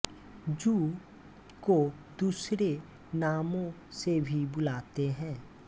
जूं को दूसरे नामों से भी बुलाते है